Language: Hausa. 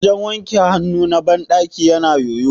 wajen wanke hannu na bandaki yana yoyo